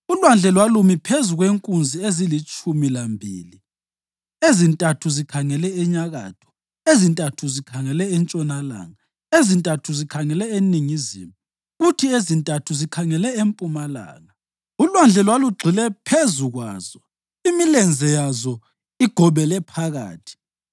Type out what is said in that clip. ULwandle lwalumi phezu kwenkunzi ezilitshumi lambili, ezintathu zikhangele enyakatho, ezintathu zikhangele entshonalanga, ezintathu zikhangele eningizimu kuthi ezintathu zikhangele empumalanga. ULwandle lwalugxile phezu kwazo, imilenze yazo igobele phakathi.